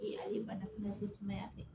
A ye bana kunbɛn sumaya fɛ